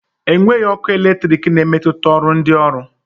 Enweghị ọkụ eletrik na-emetụta ọrụ ndị ọrụ